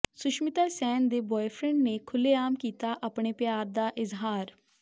ਸੁਸ਼ਮਿਤਾ ਸੈਨ ਦੇ ਬੋਏਫਰੈਂਡ ਨੇ ਖੁੱਲੇਆਮ ਕੀਤਾ ਆਪਣੇ ਪਿਆਰ ਦਾ ਇਜ਼ਹਾਰ